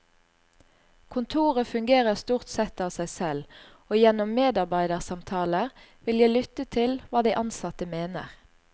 Kontoret fungerer stort sett av seg selv, og gjennom medarbeidersamtaler vil jeg lytte til hva de ansatte mener.